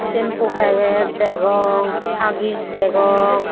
shampo packet degong haggies degong.